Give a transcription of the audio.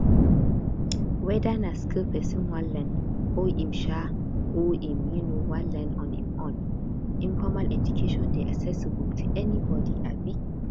weda na skill person wan learn or im um or im um wan learn on im own informal education dey accessible to anybody um